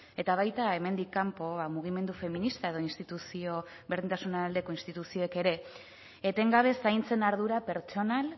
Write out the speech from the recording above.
eta baita hemendik kanpo mugimendu feminista edo berdintasun aldeko instituzioek ere etengabe zaintzen ardura pertsonal